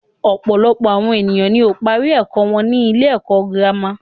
Ọ̀pọ̀lọpọ̀ àwọn ènìyàn ni ó ń parí ẹ̀kọ́ wọn sí ilé ẹ̀kọ́ gírámà.